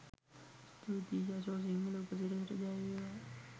ස්තුතියි යශෝ සිංහල උපසිරසට ජය වේවා!